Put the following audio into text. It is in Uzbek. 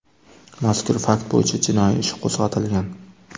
Mazkur fakt bo‘yicha jinoiy ish qo‘zg‘atilgan.